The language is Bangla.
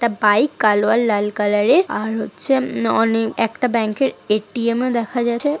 একটা বাইক কালো আর লাল কালার -এর। আর হচ্ছে এম অনেক একটা ব্যাংক - এর এ টি এম.. ও দেখা যাচ্ছে।